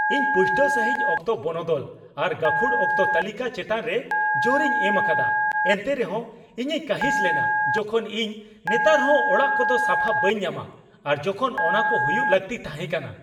ᱤᱧ ᱯᱩᱥᱴᱟᱹᱣ ᱥᱟᱹᱦᱤᱡ ᱚᱠᱛᱚ ᱵᱚᱱᱚᱫᱚᱞ ᱟᱨ ᱜᱟᱹᱠᱷᱩᱲ ᱚᱠᱛᱚ ᱛᱟᱹᱞᱤᱠᱟ ᱪᱮᱛᱟᱱᱨᱮ ᱡᱳᱨᱤᱧ ᱮᱢ ᱟᱠᱟᱫᱟ, ᱮᱱᱛᱮ ᱨᱮᱦᱚᱸ ᱤᱧᱤᱧ ᱠᱟᱺᱦᱤᱥ ᱞᱮᱱᱟ ᱡᱚᱠᱷᱚᱱ ᱤᱧ ᱱᱮᱛᱟᱨᱦᱚᱸ ᱚᱲᱟᱜ ᱠᱚᱫᱚ ᱥᱟᱯᱷᱟ ᱵᱟᱹᱧ ᱧᱟᱢᱟ ᱟᱨ ᱡᱚᱠᱷᱚᱱ ᱚᱱᱟᱠᱚ ᱦᱩᱭᱩᱜ ᱞᱟᱹᱠᱛᱤ ᱛᱟᱦᱮᱸ ᱠᱟᱱᱟ ᱾